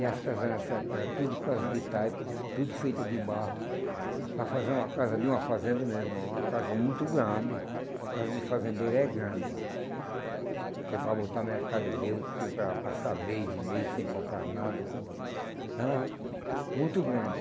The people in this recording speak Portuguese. E as casas nessa época era tudo casa de taipa, tudo feita de barro, para fazer uma casa de uma fazenda meu irmão uma casa muito grande, casa de fazendeiro é grande, porque para botar mercadoria, o que para para passar mês e mês sem comprar nada, é muito grande.